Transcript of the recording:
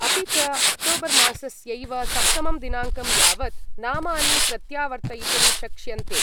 अपि च, अक्टोबर्मासस्यैव सप्तमं दिनाङ्कं यावत् नामानि प्रत्यावर्तयितुं शक्ष्यन्ते।